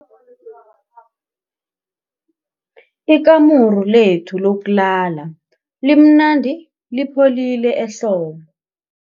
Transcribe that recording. Ikamuru lethu lokulala limnandi lipholile ehlobo.